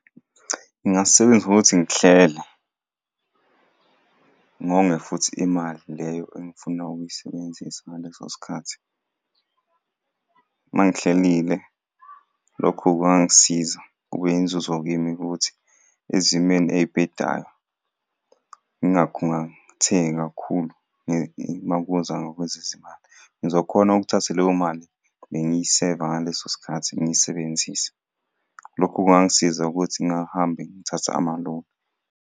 Ngingasebenzisa ngokuthi ngihlele, ngonge futhi imali leyo engifuna ukuyisebenzisa ngaleso sikhathi. Uma ngihlelile lokhu kwangisiza kube yinzuzo kimi-ke ukuthi, ezimeni ey'bhedayo ngingakhungathengi kakhulu uma kuza ngakwezezimali. Ngizokhona ukuthatha leyo mali bengiseva ngaleso sikhathi ngiyisebenzise. Lokho kungangisiza ukuthi ngingahambi ngithatha amaloni.